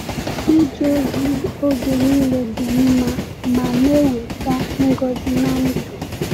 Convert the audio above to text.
Ịje ozi oge niile dị mma ma na-eweta ngọzi n’ndụ.